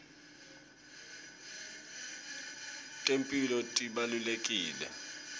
temphilo tibalulekile